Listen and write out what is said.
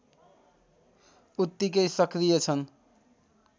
उत्तिकै सक्रिय छन्